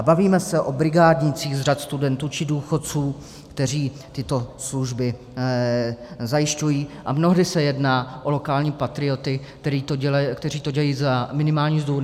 A bavíme se o brigádnících z řad studentů či důchodců, kteří tyto služby zajišťují, a mnohdy se jedná o lokální patrioty, kteří to dělají za minimální mzdu.